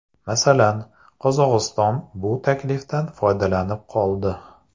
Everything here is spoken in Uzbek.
Masalan, Qozog‘iston bu taklifdan foydalanib qoldi.